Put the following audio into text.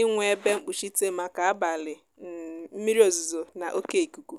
inwe ebe mkpuchite maka abalị um mmiri ozuzo na oké ikuku